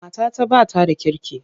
Matata ba ta da kirki.